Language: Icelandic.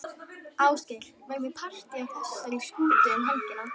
Ásgeir, verður partý á þessari skútu um helgina?